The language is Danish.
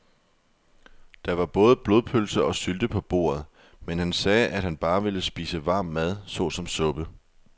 Der var både blodpølse og sylte på bordet, men han sagde, at han bare ville spise varm mad såsom suppe.